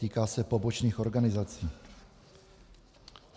Týká se pobočných organizací.